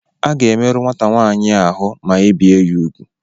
A ga-emerụ nwata nwaanyị a ahụ ma ebee ya ugwu.